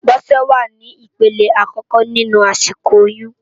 Bose wá ni ipélé àkòkò ninú àsikó óyùn